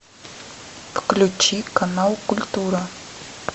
включи канал культура